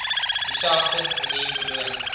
dieselfde manier beloon